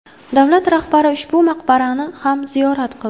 Davlat rahbari ushbu maqbarani ham ziyorat qildi.